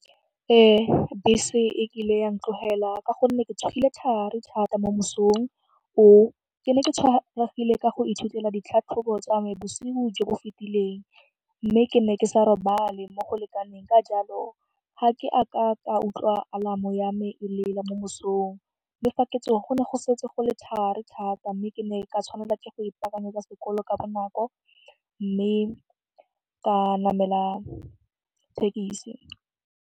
Bese e kile ya ntlogela ka gonne ke tsogile thari thata mo mosong oo. Ke ne ke tshwaregile ka go ithutela ditlhatlhobo tsa me bosigo jo bo fetileng mme ke ne ke sa robale mo go lekaneng ka jalo ga ke a ka ka utlwa alarm-o yame e lela mo mosong mme fa ke tsoga go ne go setse go le thari thata mme ke ne ka tshwanela ke go ipakanyetsa sekolo ka bonako mme ka namela thekisi.